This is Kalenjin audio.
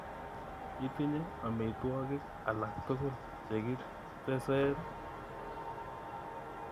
Itinye omitwogik alaktugul chekiteseen?